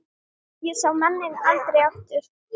Ég sá manninn aldrei aftur.